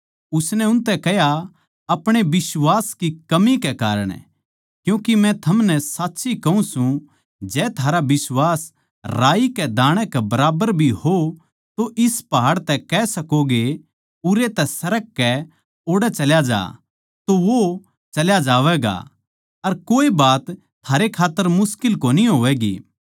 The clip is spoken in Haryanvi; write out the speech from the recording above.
उसनै उनतै कह्या अपणे बिश्वास की कमी कै कारण क्यूँके मै थमनै साच्ची कहूँ सूं जै थारा बिश्वास राई कै दाणै कै बराबर भी हो तो इस पहाड़ तै कह सकोगे उरै तै सरककै ओड़ै चल्या जा तो वो चल्या जावैगा अर कोए बात थारै खात्तर मुश्किल कोनी होवैगी